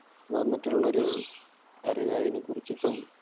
വന്നിട്ടുള്ളൊരു അറിവ് അതിനെക്കുറിച്ചിട്ടും